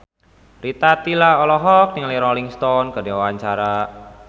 Rita Tila olohok ningali Rolling Stone keur diwawancara